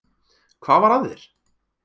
Hvað var að þér?